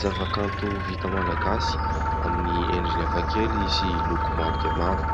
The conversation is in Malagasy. Zavakanto vita malagasy amin'ny endriny hafakely sy loko maro dia maro.